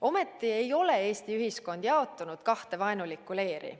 Ometi ei ole Eesti ühiskond jaotunud kahte vaenulikku leeri.